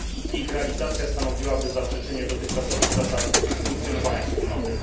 Ich realizacja stanowiłaby zaprzeczenie dotychczasowych zasad funkcjonowania Wspólnoty.